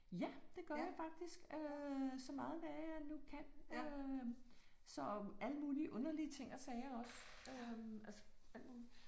Ja det gør jeg faktisk øh så meget det er jeg nu kan øh så alle mulige underlige ting og sager også øh altså alt muligt